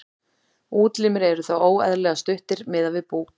útlimir eru þá óeðlilega stuttir miðað við búk